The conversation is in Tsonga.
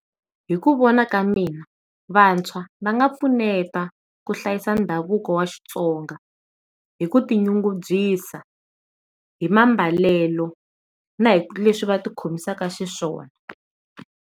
Hi ku vona ka mina vantshwa va nga pfuneta ku hlayisa ndhavuko wa Xitsonga hi ku tinyungubyisa hi mambalelo na hi leswi va ti khomisaka xiswona.